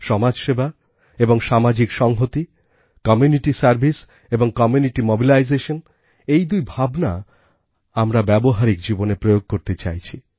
সমাজসেবা এবং সামাজিক সংহতি কমিউনিটি সার্ভিস এবং কমিউনিটি মোবিলাইজেশন এই দুই ভাবনা আমরা ব্যবহারিক জীবনে প্রয়োগ করতে চাইছি